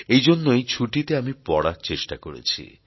এইজন্য এই ছুটিতে আমি পড়ার চেষ্টা করেছি